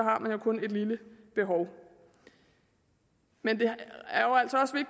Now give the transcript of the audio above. har man jo kun et lille behov men det